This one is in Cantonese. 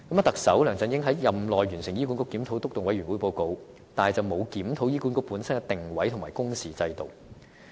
特首梁振英在任內完成了醫管局檢討督導委員會的報告，但卻沒有檢討醫管局本身的定位和工時制度。